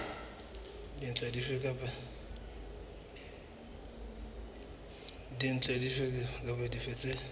dintlha dife kapa dife tse